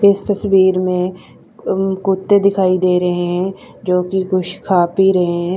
इस तस्वीर में अनन कुत्ते दिखाई दे रहे है जो की कुछ खा पी रहे है।